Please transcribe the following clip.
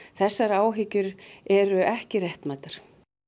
þessar áhyggjur eru ekki réttmætar